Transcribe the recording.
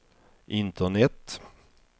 internet